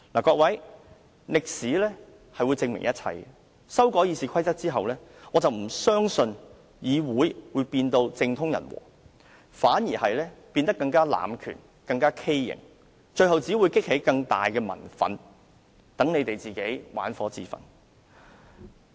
各位，歷史會證明一切，修改《議事規則》後，我不相信議會會變得政通人和，反而會變得更多濫權、更加畸形，最後只會激起更大的民憤，讓建制派玩火自焚。